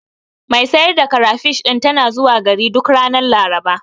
Mai sayar da karafish ɗin tana zuwa gari duk ranar Laraba.